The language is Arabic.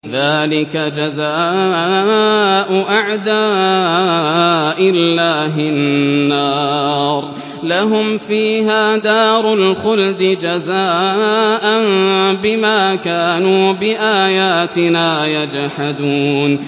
ذَٰلِكَ جَزَاءُ أَعْدَاءِ اللَّهِ النَّارُ ۖ لَهُمْ فِيهَا دَارُ الْخُلْدِ ۖ جَزَاءً بِمَا كَانُوا بِآيَاتِنَا يَجْحَدُونَ